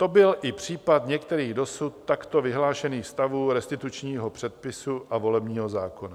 To byl i případ některých dosud takto vyhlášených stavů restitučního předpisu a volebního zákona.